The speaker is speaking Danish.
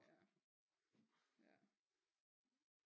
Ja ja